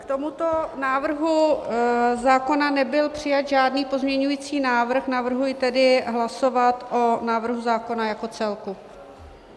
K tomuto návrhu zákona nebyl přijat žádný pozměňovací návrh, navrhuji tedy hlasovat o návrhu zákona jako celku.